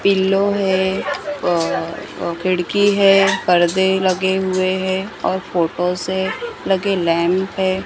Pillow है। अ अ खिड़की है। परदे लगे हुए हैं और फोटो से लगे लैंप है।